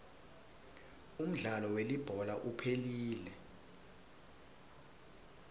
umdlalo welibhola uphelile